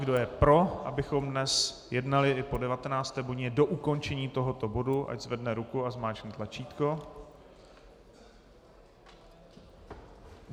Kdo je pro, abychom dnes jednali i po 19. hodině do ukončení tohoto bodu, ať zvedne ruku a zmáčkne tlačítko.